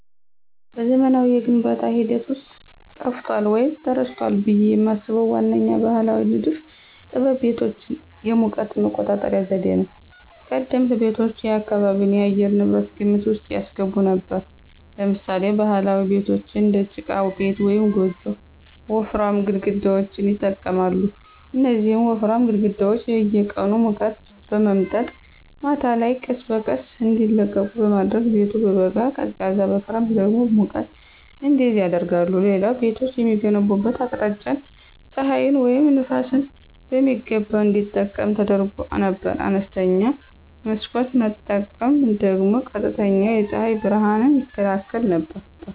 በዘመናዊው የግንባታ ሂደት ውስጥ ጠፍቷል ወይም ተረስቷል ብዬ የማስበው ዋነኛው ባሕላዊ ንድፍ ጥበብ የቤቶች የሙቀት መቆጣጠሪያ ዘዴ ነው። ቀደምት ቤቶች የአካባቢን የአየር ንብረት ግምት ውስጥ ያስገቡ ነበሩ። ለምሳሌ ባህላዊ ቤቶች (እንደ ጭቃ ቤት ወይም ጎጆ) ወፍራም ግድግዳዎችን ይጠቀማሉ። እነዚህ ወፍራም ግድግዳዎች የቀኑን ሙቀት በመምጠጥ ማታ ላይ ቀስ በቀስ እንዲለቁ በማድረግ ቤቱ በበጋ ቀዝቃዛ በክረምት ደግሞ ሙቀት እንዲይዝ ያደርጋሉ። ሌላው ቤቶች የሚገነቡበት አቅጣጫ ፀሐይን ወይም ነፋስን በሚገባ እንዲጠቀም ተደርጎ ነበር። አነስተኛ መስኮት መጠቀም ደግሞ ቀጥተኛ የፀሐይ ብርሃንን ይከላከል ነበር።